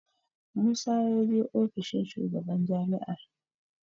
Musa ya je ofishin shugaban jami'ar.